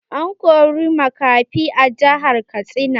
An kori makafi a jihar Katsina.